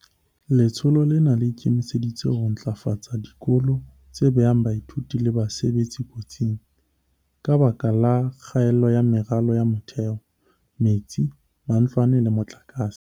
Letsholo lena le ikemiseditse ho ntlafatsa dikolo tse behang baithuti le basebetsi kotsing, ka lebaka la kgaello ya meralo ya motheo, metsi, matlwana le motlakase.